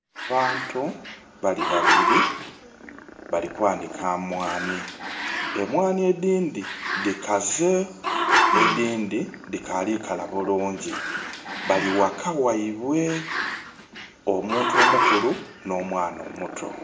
Abantu bali babili bali kwanika mwaanhi. Emwaanhi edhindhi dhikaze, edhindhi dhikaali kala bulungi. Bali ghaka ghaibwe, omuntu omukulu nh'omwana omuto.